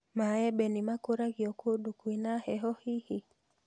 Maembe nĩ makũragio kũndũ kwĩna heho hihi?